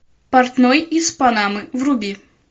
портной из панамы вруби